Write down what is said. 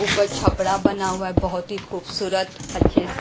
ऊपर छपड़ा बना हुआ है बहुत ही खूबसूरत अच्छे--